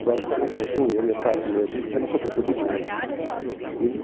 Agora, vocês imaginem, o meu pai, como eu disse, era cobrador de bonde. Ele